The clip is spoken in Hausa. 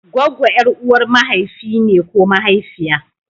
Goggo ƴar'uwar mahaifi ne ko mahaifiya.